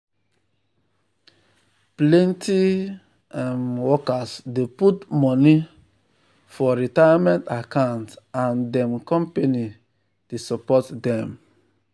plenty um workers dey put money um for retirement account and dem company dey um support dem.